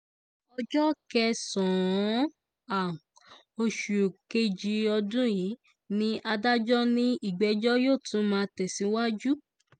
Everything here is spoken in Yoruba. ọjọ́ kẹsàn-án oṣù kejì ọdún yìí ni adájọ́ ní ìgbẹ́jọ́ yóò tún máa tẹ̀síwájú